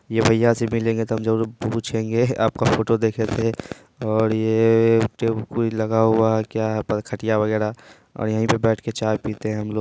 ये भैया से मिलेंगे तो हम ज़रूर पूछेंगे आपका फोटो देखे थे| और ये ए एक टेम्पू लगा हुआ है क्या है? खटिया वगेरा और यहीं पे बैठ के चाय पीते हैं हम लोग।